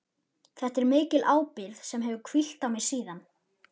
Þetta er mikil ábyrgð sem hefur hvílt á mér síðan.